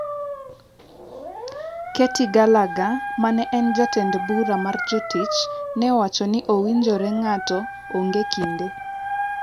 Katy Gallagher ma en jatend bura mar jotich ne owacho ni owinjore ng’ato ong’e kinde.